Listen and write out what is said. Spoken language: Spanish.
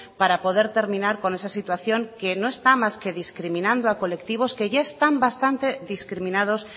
para poder terminar con esa situación que no está más que discriminando a colectivos que ya están bastante discriminados